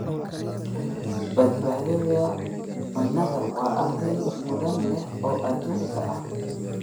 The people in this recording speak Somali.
Badbaadada cunnada waa arrin mudnaan leh oo adduunka ah.